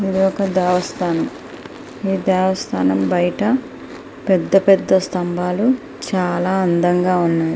ఇది ఒక దేవస్థానము ఈ దేవస్థానము బయట పెద్దపెద్ద స్తంభాలు చాలా అందంగా ఉన్నాయి.